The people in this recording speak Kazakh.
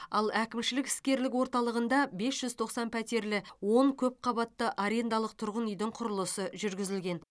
ал әкімшілік іскерлік орталығында бес жүз тоқсан пәтерлі он көпқабатты арендалық тұрғын үйдің құрылысы жүргізілген